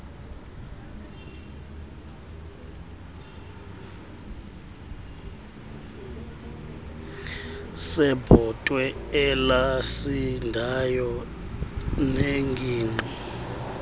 sebhotwe elasindayo nengingqi